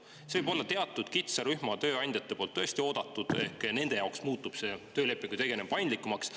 Seda võib-olla teatud kitsas rühm tööandjaid tõesti ootab, sest nende jaoks muutub see töölepinguga tegelemine paindlikumaks.